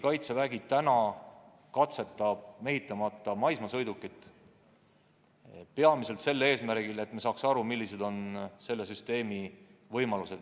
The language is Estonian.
Kaitsevägi katsetab mehitamata maismaasõidukit peamiselt sel eesmärgil, et me saaksime aru, millised on selle sõiduki võimalused.